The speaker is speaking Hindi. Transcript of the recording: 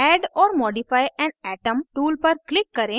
add or modify an atom tool पर click करें